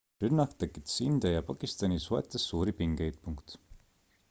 rünnak tekitas india ja pakistani suhetes suuri pingeid